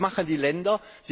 Und was machen die Länder?